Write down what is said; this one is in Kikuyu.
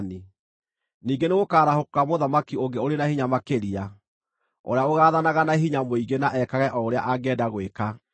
Ningĩ nĩgũkarahũka mũthamaki ũngĩ ũrĩ na hinya makĩria, ũrĩa ũgaathanaga na hinya mũingĩ na ekage o ũrĩa angĩenda gwĩka.